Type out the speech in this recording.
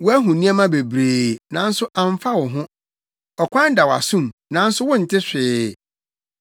Woahu nneɛma bebree, nanso amfa wo ho; Ɔkwan da wʼasom, nanso wonte hwee.”